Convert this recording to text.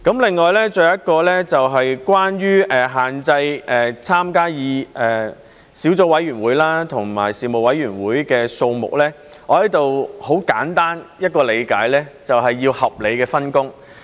另外，還有一點，就是關於限制所參加的小組委員會和事務委員會的數目，我在此很簡單地理解，就是要有合理的分工。